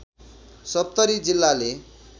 सप्तरी जिल्लाले